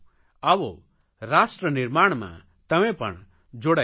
આવો રાષ્ટ્રનિર્માણમાં તમે પણ જોડાઇ જાવ